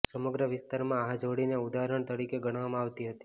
સમગ્ર વિસ્તારમાં આ જોડીને ઉદાહરણ તરીકે ગણવામાં આવતી હતી